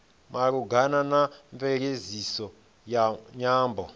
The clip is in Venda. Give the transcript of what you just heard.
malugana na mveledziso ya nyambo